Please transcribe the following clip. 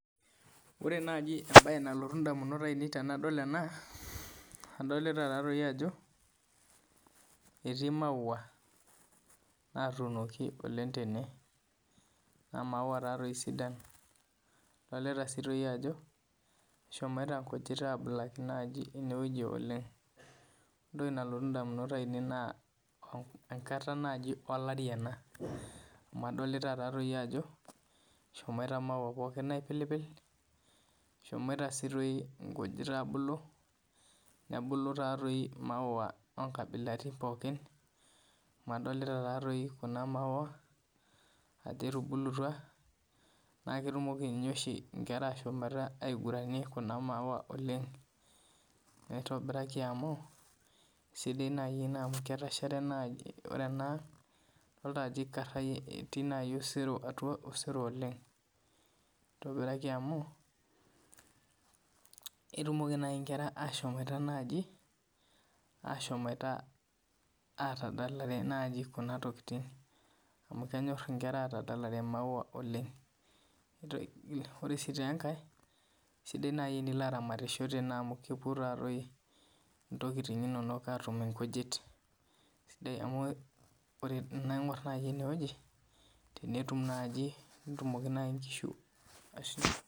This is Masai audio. Wore naaji embaye nalotu indamunot aiinei tenadol ena, adolita taatoi ajo, etii maua naatuunoki oleng' tene. Naa maua taatoi sidan. Idolita sii toi ajo eshomoita inkujit aabulaki naaji inewoji oleng'. Wore entoki nalotu indamunot aiinei naa enkata naaji olari ena. Amu adolita taatoi ajo eshomoita maua pookin aipilipil. Eshomoita sii doi inkujit aabulu, nebulu taatoi imaua oonkabilaitin pookin, amu adolita taatoi kuna maua ajo etubulutwa, naa ketumoki ninye oshi inkera aashomoita aiguranie kuna maua oleng'. Nitobiraki amu, esidai naa ene amu ketashare naai, wore enaang idolita ajo ikarayie etii nai osero atua osero oleng'. Nitobiraki amu, ketumoki naai inkera aashomoita naaji, aashomoita aatadalare naai kuna tokitin amu kenyor inkera aatadalare imaua oleng'. Wore sii taa enkae, sidai naai tenilo aramat tene amu kepuo naatoi intokitin inonok aatum inkujit. Amu tenaingor naaji enewuoji, tenetum naaji, tenetumoki naai inkishu